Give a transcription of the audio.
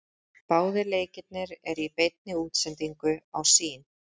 Báðir leikirnir eru í beinni útsendingu á Sýn.